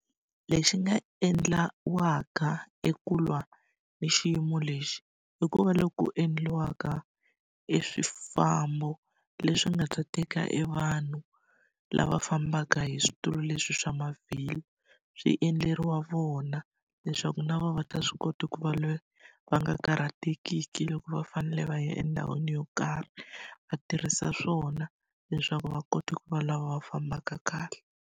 Lexi nga endliwaka eku lwa na xiyimo lexi, i ku va loko ku endliwaka eswifambo leswi nga ta teka evanhu lava fambaka hi switulu leswi swa mavhilwa, swi endleriwa vona leswaku na vona va ta swi kota ku va lava va nga karhatekiki loko va fanele va ya endhawini yo karhi. Va tirhisa swona leswaku va kota ku va lava va fambaka kahle.